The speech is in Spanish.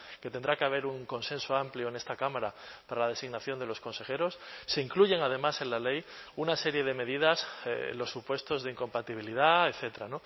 que tendrá que haber un consenso amplio en esta cámara para la designación de los consejeros se incluyen además en la ley una serie de medidas los supuestos de incompatibilidad etcétera